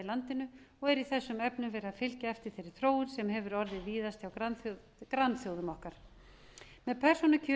landinu og er í þessum efnum verið að fylgja eftir þeirri þróun sem orðið hefur víðast hjá grannþjóðum okkar með persónukjöri